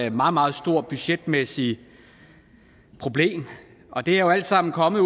et meget meget stort budgetmæssigt problem og det er jo alt sammen kommet